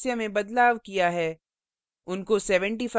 यहाँ हमने सदस्य में बदलाव किया है